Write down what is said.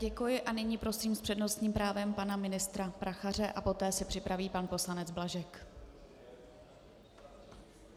Děkuji a nyní prosím s přednostním právem pana ministra Prachaře a poté se připraví pan poslanec Blažek.